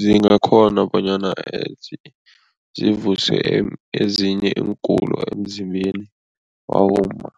zingakghona bonyana zivuse ezinye iingulo emzimbeni wabomma.